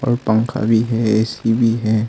और पंखा भी है ए_सी भी है।